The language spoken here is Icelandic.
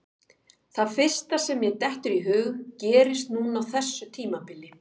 Það fyrsta sem mér dettur í hug gerðist núna á þessu tímabili.